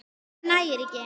Það nægir ekki.